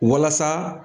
Walasa